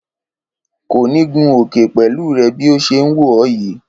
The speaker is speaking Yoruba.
Kò ni gun òkè pẹ̀lú rẹ bi ọ ṣe ń wò ọ yìí